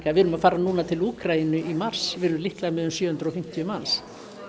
við erum að fara núna til Úkraínu í mars við erum líklega með um sjö hundruð og fimmtíu manns